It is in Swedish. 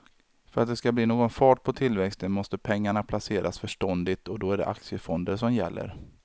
För att det ska bli någon fart på tillväxten måste pengarna placeras förståndigt och då är det aktiefonder som gäller.